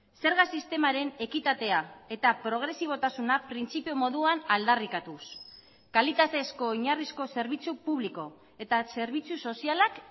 zerga sistemaren ekitatea eta progresibotasuna printzipio moduan aldarrikatuz kalitatezko oinarrizko zerbitzu publiko eta zerbitzu sozialak